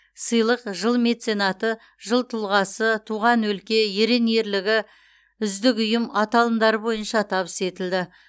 сыйлық жыл меценаты жыл тұлғасы туған өлке ерен ерлігі үздік ұйым аталымдары бойынша табыс етілді